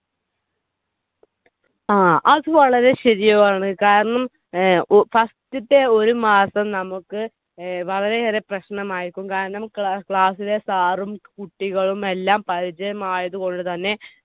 ങ്ഹാ. അത് വളരെ ശരിയാണ്. കാരണം first ത്തെ ഒരു മാസം നമുക്ക് വളരെയേറെ പ്രശ്‌നമായിരിക്കും. കാരണം class ലെ Sir ഉം കുട്ടികളുമെല്ലാം പരിചയമായതുകൊണ്ടുതന്നെ